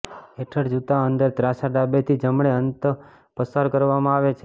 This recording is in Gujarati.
હેઠળ જૂતા અંદર ત્રાંસા ડાબેથી જમણે અંત પસાર કરવામાં આવે છે